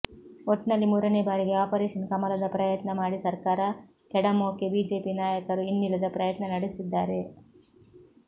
ಒಟ್ನಲ್ಲಿ ಮೂರನೇ ಭಾರಿಗೆ ಆಪರೇಷನ್ ಕಮಲದ ಪ್ರಯತ್ನ ಮಾಡಿ ಸರ್ಕಾರ ಕೆಡವೋಕೆ ಬಿಜೆಪಿ ನಾಯಕರು ಇನ್ನಿಲ್ಲದ ಪ್ರಯತ್ನ ನಡೆಸಿದ್ದಾರೆ